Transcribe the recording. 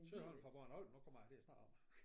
Søholm fra Bornholm nu kommer jeg til at snakke om det